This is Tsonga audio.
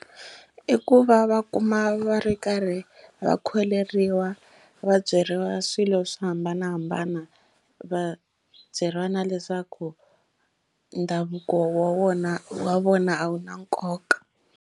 I ku va va kuma va ri karhi va kholeriwa va byeriwa swilo swo hambanahambana va byeriwa na leswaku ndhavuko wa wona wa vona a wu na nkoka.